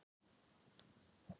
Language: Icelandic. Ég horfði á hana horfa á mig.